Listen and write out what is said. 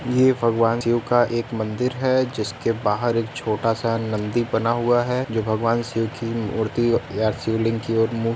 यह भगवान शिव का एक मंदिर है। जिसके बाहर एक छोटा सा नंदी बना हुआ है जो भगवान शिव की मूर्ति या शिवलिंग की और मुँह --